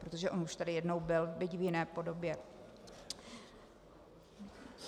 Protože on už tady jednou byl, byť v jiné podobě.